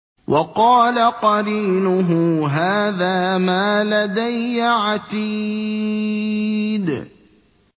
وَقَالَ قَرِينُهُ هَٰذَا مَا لَدَيَّ عَتِيدٌ